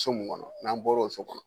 So mun kɔnɔ n'an bɔr'o so kɔnɔ